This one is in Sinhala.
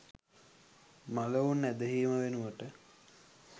මළවුන් ඇදහීම වෙනුවට